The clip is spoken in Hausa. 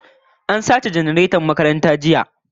An sace janareton makaranta jiya